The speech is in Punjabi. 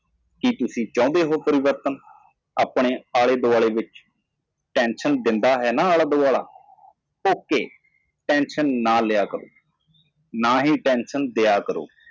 ਕੀ ਤੁਸੀਂ ਬਦਲਾਅ ਚਾਹੁੰਦੇ ਹੋ ਤੁਹਾਡੇ ਨੇੜੇ ਕੀ ਨੇੜਤਾ ਤੁਹਾਨੂੰ ਤਣਾਅ ਨਹੀਂ ਦਿੰਦੀ? ਠੀਕ ਹੈਚਿੰਤਾ ਨਾ ਕਰੋ ਮੈਨੂੰ ਤਣਾਅ ਨਾ ਦਿਓ